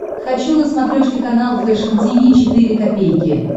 хочу на смотрешке канал фэшн ти ви четыре ка